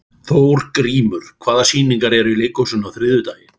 Þórgrímur, hvaða sýningar eru í leikhúsinu á þriðjudaginn?